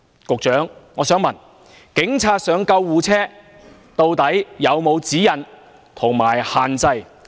局長，我想問，關於警察登上救護車，究竟有沒有指引及限制？